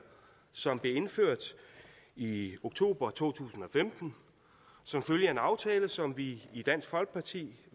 som blev indført i oktober to tusind og femten som følge af en aftale som vi i dansk folkeparti